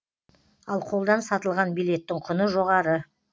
ал қолдан сатылған билеттің құны жоғары